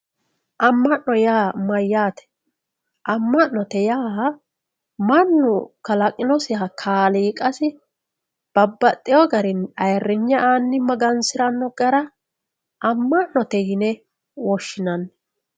amma'no yaa mayyaate amma'note yaa mannu kalaqinosiha kaliiqasi babbaxxeyo garinni ayeerinye aanni magansiranno gara amma'note yine woshshinanni